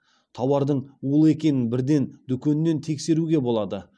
тауардың улы екенін бірден дүкеннен тексеруге болады